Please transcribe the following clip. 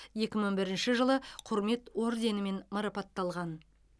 екі мың бірінші жылы құрмет орденімен марапатталған